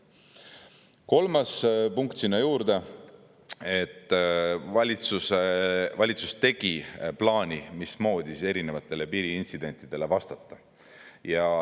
Kolmas punkt sinna juurde, et valitsus tegi plaani, mismoodi erinevatele piiriintsidentidele vastata.